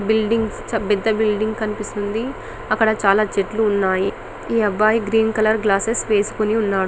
పెద్ద బిల్డింగ్స్ కనిపిస్తున్నాయి అక్కడ చాల చెట్లు ఉన్నాయి ఈ అబ్బాయి గ్రీన్ కలర్ గ్లాస్సెస్ పెట్టుకొని ఉన్నాడు